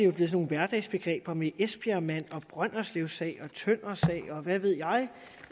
jo blevet sådan hverdagsbegreber med esbjergmanden brønderslevsagen tøndersagen og hvad ved jeg